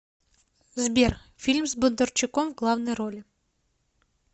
сбер фильм с бондарчуком в главной роли